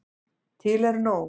Til er nóg.